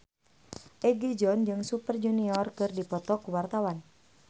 Egi John jeung Super Junior keur dipoto ku wartawan